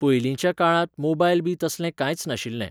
पयलींच्या काळांत मोबायलबी तसलें कांयच नाशिल्लें